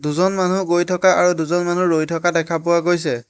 দুজন মানুহ গৈ থকা আৰু দুজন মানুহ ৰৈ থকা দেখা পোৱা গৈছে।